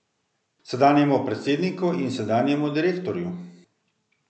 Sedanjemu predsedniku in sedanjemu direktorju?